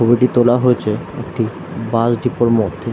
ছবিটি তোলা হয়েছে একটি বাস ডিপো -র মধ্যে।